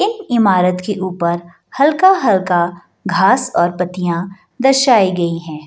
एक इमारत के ऊपर हल्का-हल्का घास और पत्तियाँ दर्शायी गई हैं।